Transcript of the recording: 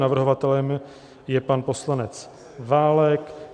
Navrhovatelem je pan poslanec Válek.